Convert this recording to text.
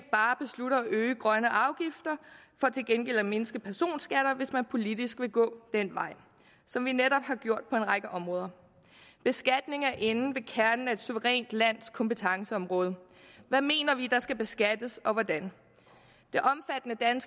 øge grønne afgifter for til gengæld at mindske personskatter hvis man politisk vil gå den vej som vi netop har gjort på en række områder beskatning er inde ved kernen af et suverænt lands kompetenceområde hvad mener vi der skal beskattes og hvordan